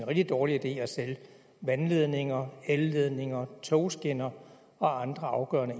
rigtig dårlig idé at sælge vandledninger elledninger togskinner og andre afgørende